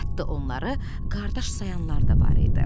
Hətta onları qardaş sayanlar da var idi.